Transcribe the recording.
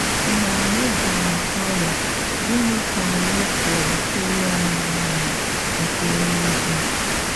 Mgbe anyị dàrà ọríá, gịnị ka anyị pụ̀rà ịrịọ̀ Nnà anyị nke élúígwè?